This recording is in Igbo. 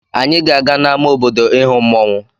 Anyị ga-aga n'ama obodo ịhụ mmọnwụ.